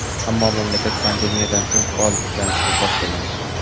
ammo mamlakat pandemiyadan so‘ng faol tiklanishni boshlagan.